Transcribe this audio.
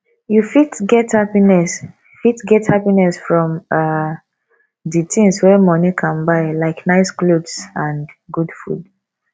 you fit get happiness fit get happiness from um di things wey money can buy like nice clothes and good food